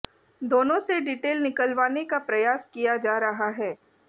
दोनों से डिटेल निकलवाने का प्रयास किया जा रहा है